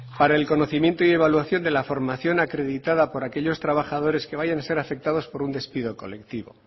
para el conocimiento y evaluación de la formación acreditada por aquellos trabajadores que vayan a ser afectados